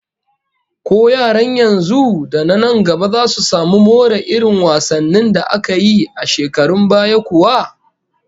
Ko yaran yanzu da na nan gaba zasu samu more irin wasannin da aka yi a shekarun baya kuwa?